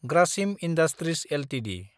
Grasim industries Ltd